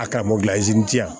A karamɔgɔ in diya